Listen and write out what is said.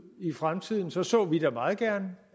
i fremtiden så så vi da meget gerne